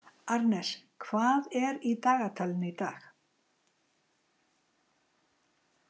Arnes, hvað er í dagatalinu í dag?